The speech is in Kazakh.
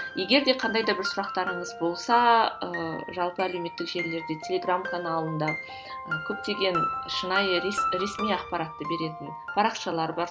егер де бір қандай да бір сұрақтарыңыз болса ыыы жалпы әлеуметтік желілерде телеграмм каналында көптеген шынайы ресми ақпаратты беретін парақшалар бар